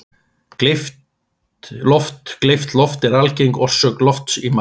Gleypt loft Gleypt loft er algeng orsök lofts í maga.